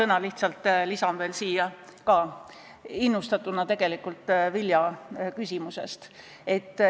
Ma lisan siia lihtsalt paar sõna, innustatuna Vilja küsimusest.